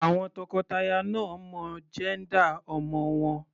Àwọn tọkọtaya náà ò mọ jẹ́ńdà ọmọ wọn.